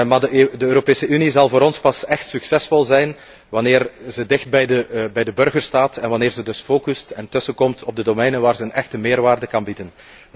Maar de Europese Unie zal voor ons pas echt succesvol zijn wanneer ze dicht bij de burgers staat en wanneer ze dus focust en tussenbeide komt op de gebieden waar ze een echte meerwaarde kan bieden.